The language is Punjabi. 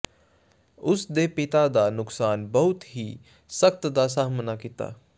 ਉਸ ਦੇ ਪਿਤਾ ਦਾ ਨੁਕਸਾਨ ਬਹੁਤ ਹੀ ਸਖ਼ਤ ਦਾ ਸਾਮ੍ਹਣਾ ਕੀਤਾ